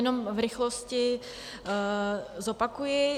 Jenom v rychlosti zopakuji.